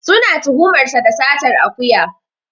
Suna tuhumar sa da satar akuya.